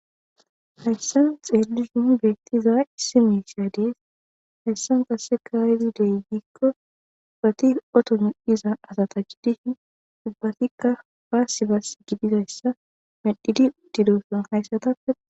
hayssan xeelishun beettiza issi miisiya dees hayssan kasse kaayidi deygikko ubati oto mi7iza asata giddishin ubbatikka paasi bas gidizayssa medhidi udiloson hayssatappe